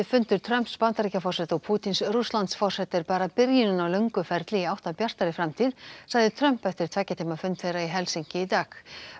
fundur Trumps Bandaríkjaforseta og Pútíns Rússlandsforseta er bara byrjunin á löngu ferli í átt að bjartari framtíð sagði Trump eftir tveggja tíma fund þeirra í Helsinki í dag